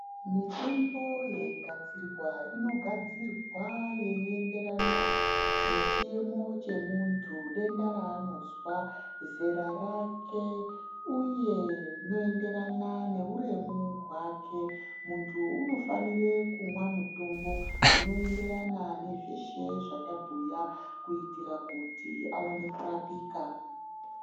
Mitombo yeigadzirwa inogadzirwa yeienderana nechiemo chemuntu denda raanozwa zera rake uye inoenderana neuremu hwake muntu unofanire kumwa mutombo unoenderana nezveshe zvatabhuya kuitira kuti aone kurapika.